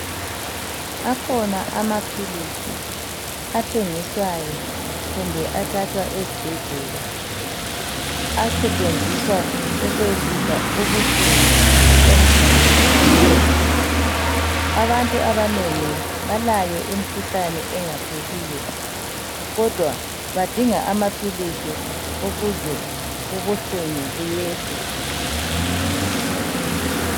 Akhona amaphilisi athengiswayo kumbe athathwa ezibhedlela asetshenziswa ukwehlisa ubuhlungu emzimbeni yabantu. Abantu abanengi balayo imikhuhlane engapheliyo kodwa badinga amaphilisi ukuze ubuhlungu buyehle.